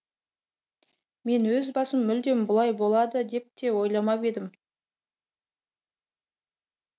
мен өз басым мүлдем бұлай болмады деп те ойламап едім